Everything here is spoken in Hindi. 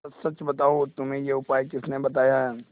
सच सच बताओ तुम्हें यह उपाय किसने बताया है